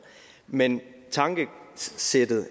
men tankesættet